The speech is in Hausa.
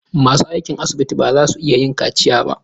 Masu aikin asibiti ba za su iya yin kaciya ba.